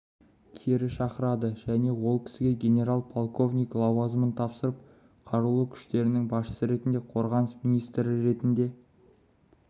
кері шақырады және ол кісіге генерал-полковник лауазымын тапсырып қарулы күштерінің басшысы ретінде қорғаныс министрі ретінде